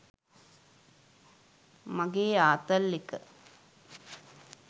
මගේ ආතල් එක